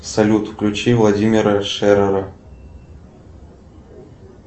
салют включи владимира шерера